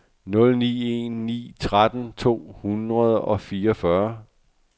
nul ni en ni tretten to hundrede og fireogfyrre